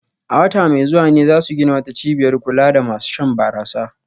A wata mai zuwa ne za su gina wata cibiyar kula da masu shan barasa